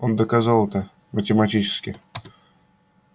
он доказал это математически